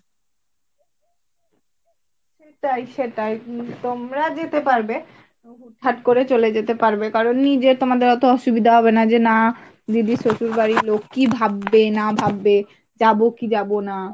সেটাই সেটাই তোমরা যেতে পারবে হুট হাট করে চলে যেতে পারবে, কারন নিজে তোমাদের এত অসুবিধা হবে না যে না দিদির শ্বশুরবাড়ির লোক কি ভাববে না ভাববে যাব কি যাব না।